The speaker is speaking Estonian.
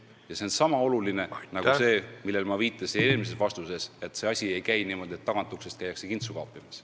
Ja see on sama oluline printsiip nagu see, millele ma viitasin eelmises vastuses: et see asi ei käi niimoodi, et tagauksest käiakse kintsu kaapimas.